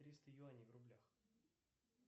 триста юаней в рублях